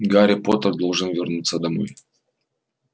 гарри поттер должен вернуться домой